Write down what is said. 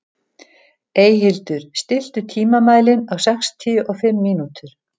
Eyhildur, stilltu tímamælinn á sextíu og fimm mínútur.